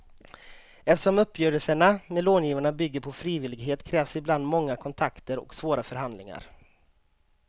Eftersom uppgörelserna med långivarna bygger på frivillighet krävs ibland många kontakter och svåra förhandlingar.